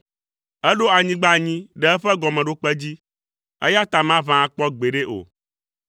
Eɖo anyigba anyi ɖe eƒe gɔmeɖokpe dzi, eya ta maʋã akpɔ gbeɖe o.